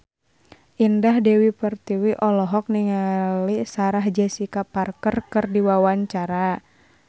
Indah Dewi Pertiwi olohok ningali Sarah Jessica Parker keur diwawancara